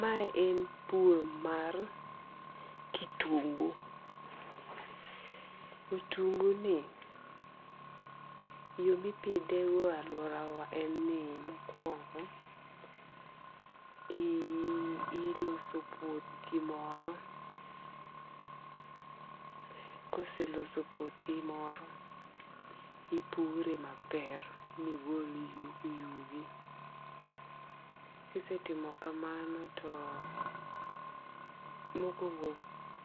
Ma en pur mar kitungu. Otungu ni yo mipidhe go e aluora wa en ni mokuongo iloso puothi moro. Kiseloso puothi moro, ipure maber migol yugi yugi. Kisetimo kamano to mokuongo